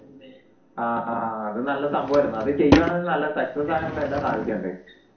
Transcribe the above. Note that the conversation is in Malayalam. ആഹ് അഹ് അത് നല്ല സംഭവം ആയിരുന്നു അത് ചെയ്യുവാണേൽ അത് നല്ല success ആകാനുള്ള എല്ലാ സാധ്യതയു ഇണ്ടെനു